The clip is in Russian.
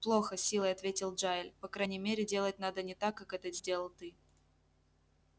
плохо с силой ответил джаэль по крайней мере делать надо не так как это сделал ты